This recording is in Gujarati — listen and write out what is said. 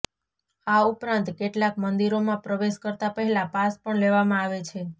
આ ઉપરાંત કેટલાક મંદિરોમાં પ્રવેશ કરતા પહેલા પાસ પણ લેવામાં આવે છે